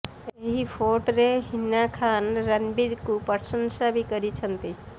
ଏହି ଫୋଟରେ ହିନା ଖାନ୍ ରଣବୀରଙ୍କୁ ପ୍ରଶଂସା ବି କରିଛନ୍ତି